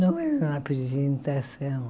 Não é uma apresentação.